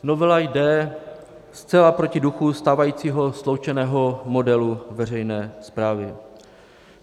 Novela jde zcela proti duchu stávajícího sloučeného modelu veřejné správy.